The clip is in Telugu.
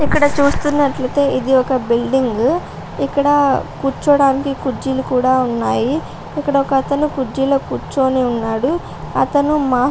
ఇక్కడ చూస్తునట్లైతే ఇది ఒక బిల్డింగ్ ఇక్కడ కూర్చవటానికి కుర్చీలు కూడా ఉన్నాయి. ఇక్కడ ఒకతను కుర్చీలో కూర్చొని ఉన్నాడు. అతను మా --